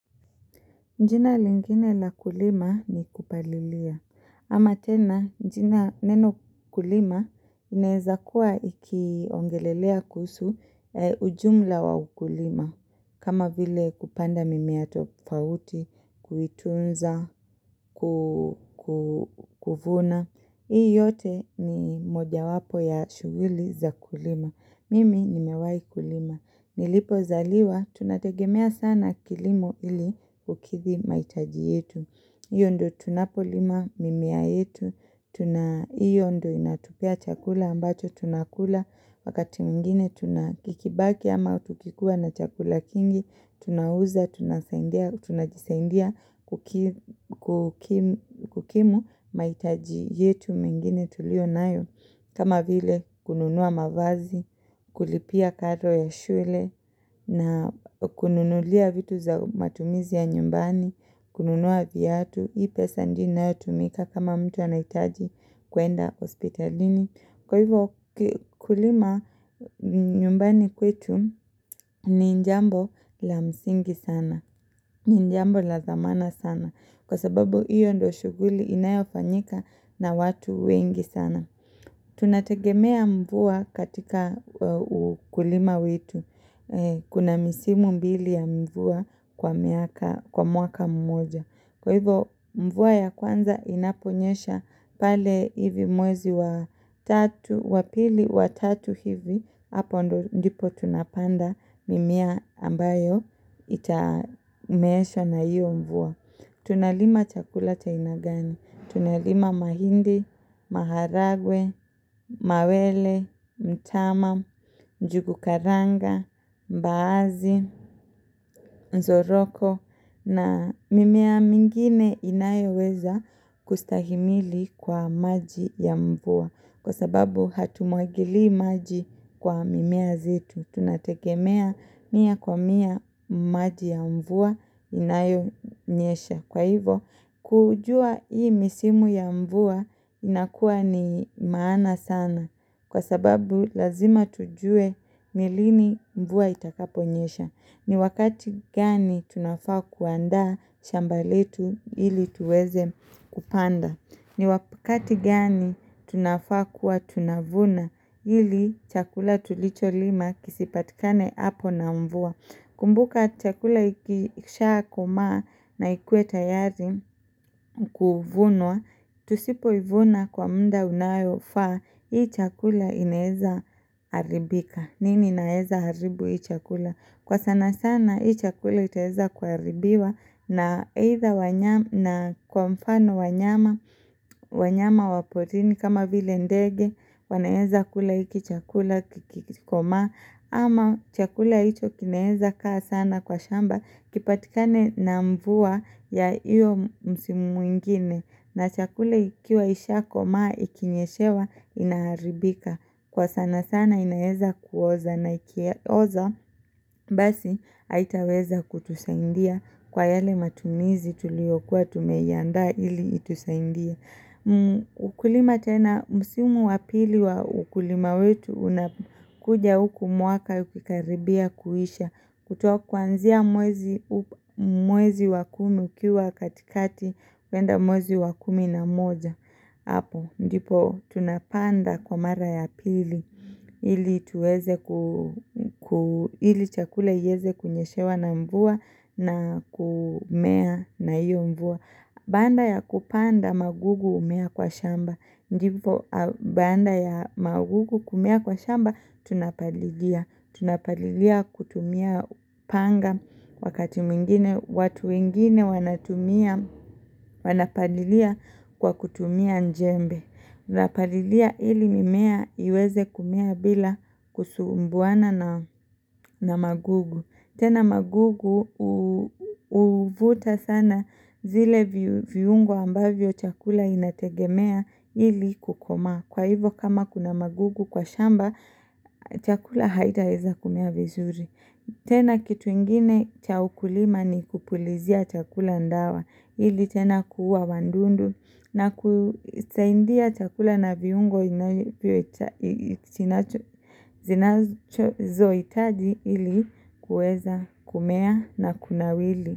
Jina lingine la kulima ni kupalilia. Ama tena jina neno kulima inaweza kuwa iki ongelelea kuhusu ujumla wa ukulima. Kama vile kupanda mimea tofauti kuitunza, kuvuna. Hii yote ni moja wapo ya shughuli za kulima. Mimi nimewai kulima. Nilipo zaliwa, tunategemea sana kilimo ili kukidhi mahitaji yetu. Hiyo ndiyo tunapolima mimea yetu, hiyo ndiyo inatupea chakula ambacho tunakula, wakati mwingine tunakikibaki ama kukikua na chakula kingi, tunauza, tunajisaidia, kukimu mahitaji yetu mengine tuliyo nayo. Kama vile kununua mavazi, kulipia kato ya shule na kununulia vitu za matumizi ya nyumbani, kununua viatu, hii pesa ndiyo inayo tumika kama mtu anahitaji kwenda hospitalini. Kwa hivyo kulima nyumbani kwetu ni njambo la msingi sana, ni jambo la zamana sana kwa sababu hiyo ndiyo shughuli inayofanyika na watu wengi sana. Tunategemea mvua katika ukulima wetu Kuna misimu mbili ya mvua kwa mwaka mmoja Kwa hivyo mvua ya kwanza inaponyesha pale hivi mwezi wa tatu wa pili wa tatu hivi Hapo ndipo tunapanda mimea ambayo itameeshwa na hiyo mvua Tunalima chakula cha aina gani Tunalima mahindi, maharagwe, mawele, mtama, njugu karanga, mbaazi, choroko na mimea mingine inayo weza kustahimili kwa maji ya mvua. Kwa sababu hatumwagilii maji kwa mimea zetu. Tunategemea mia kwa mia maji ya mvua inayo nyesha. Kwa hivyo, kujua hii misimu ya mvua inakuwa ni maana sana kwa sababu lazima tujue nilini mvua itakaponyesha. Ni wakati gani tunafaa kuandaa shambaletu ili tuweze kupanda. Ni wakati gani tunafaa kuwa tunavuna ili chakula tulicho lima kisipatikane hapo na mvua. Kumbuka chakula ikisha komaa na ikuwe tayari kuvunwa, tusipo ivuna kwa muda unayo faa, hii chakula inaweza haribika. Nini inaweza haribu hii chakula? Kwa sana sana hii chakula itaweza kuharibiwa na kwa mfano wanyama wanyama waporini kama vile ndege, wanaweza kula hiki chakula kikikomaa ama chakula icho kinaweza kaa sana kwa shamba kipatikane na mvua ya hiyo msimu mwingine na chakula ikiwa isha komaa ikinyeshewa inaharibika kwa sana sana inaweza kuoza na ikioza basi haitaweza kutusaindia kwa yale matumizi tulio kuwa tumeyandaa ili itusaindie ukulima tena msimu wa pili wa ukulima wetu unakuja huku mwaka ukikaribia kuisha kutoka kuanzia mwezi wa kumi ukiwa katikati kwenda mwezi wa kumi na moja hapo ndipo tunapanda kwa mara ya pili ili chakule iweze kunyeshewa na mvua na kumea na iyo mvua Baada ya kupanda magugu umea kwa shamba. Baada ya magugu kumea kwa shamba tunapalilia. Tunapalilia kutumia upanga wakati mwingine watu wengine wanapalilia kwa kutumia jembe. Tuna palilia ili mimea iweze kumea bila kusumbuana na magugu. Tena magugu uvuta sana zile viungwa ambavyo chakula inategemea ili kukomaa. Kwa hivyo kama kuna magugu kwa shamba chakula haita weza kumea vizuri. Tena kitu ingine cha ukulima ni kupulizia chakula dawa ili tena kuuwa wadudu na kusaidia chakula na viungo zinazo hitaji ili kuweza kumea na kunawili.